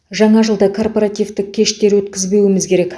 жаңа жылда корпоративтік кештер өткізбеуіміз керек